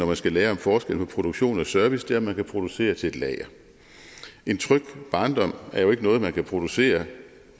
man skal lære om forskellen på produktion og service på om man kan producere til et lager en tryg barndom er jo ikke noget man kan producere